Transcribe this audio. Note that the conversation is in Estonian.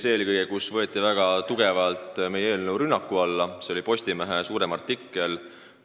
Eelkõige võeti meie eelnõu väga tugeva rünnaku alla ühes pikemas Postimehe artiklis.